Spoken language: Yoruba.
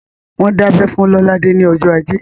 Wọ́n dábẹ́ fún Lolade ní ọjọ́ ajé